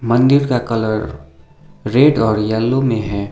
मंदिर का colour red और येलो में है।